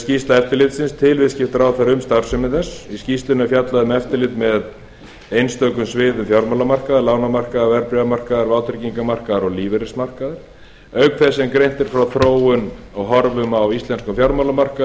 skýrsla eftirlitsins til viðskiptaráðherra um starfsemi þess í skýrslunni er fjallað um eftirlit með einstökum sviðum fjármálamarkaðar lánamarkaðar verðbréfamarkaðar vátryggingamarkaðar og lífeyrismarkaðar auk þess sem greint er frá þróun og horfum á íslenskum